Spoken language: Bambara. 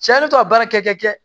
Cɛ ne to a baara kɛ